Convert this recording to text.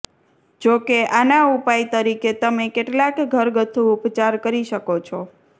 જો કે આના ઉપાય તરીકે તમે કેટલાક ઘરગથ્થુ ઉપચાર કરી શકો છો